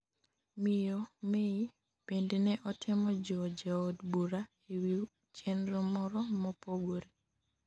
miyo May bende ne otemo jiwo jood bura e wi chenro moro mopogore